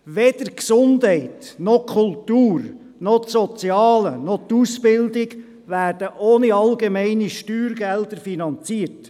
Weder die Gesundheit noch die Kultur noch das Soziale noch die Ausbildung werden ohne allgemeine Steuergelder finanziert.